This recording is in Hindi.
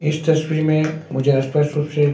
इस तस्वीर में मुझे अस्पष्ट रूप से--